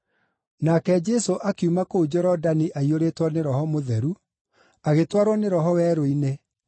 Nake Jesũ akiuma kũu Jorodani aiyũrĩtwo nĩ Roho Mũtheru, agĩtwarwo nĩ Roho werũ-inĩ,